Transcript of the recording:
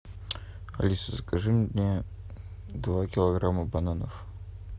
алиса закажи мне два килограмма бананов